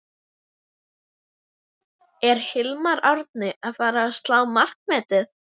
Er Hilmar Árni að fara að slá markametið?